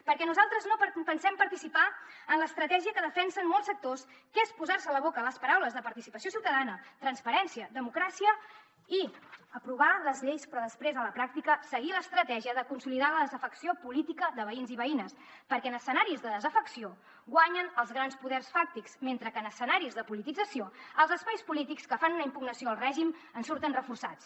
perquè nosaltres no pensem participar en l’estratègia que defensen molts sectors que és posar se a la boca les paraules participació ciutadana transparència democràcia i aprovar les lleis però després a la pràctica seguir l’estratègia de consolidar la desafecció política de veïns i veïnes perquè en escenaris de desafecció guanyen els grans poders fàctics mentre que en escenaris de politització els espais polítics que fan una impugnació al règim en surten reforçats